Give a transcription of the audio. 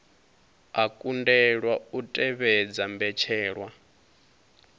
a kundelwa u tevhedza mbetshelwa